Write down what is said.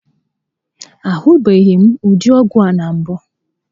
A hụbeghịm ụdị ọgwụ a na mbụ